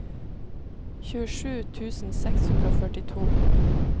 tjuesju tusen seks hundre og førtito